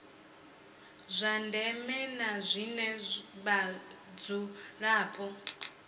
zwa ndeme na zwine vhadzulapo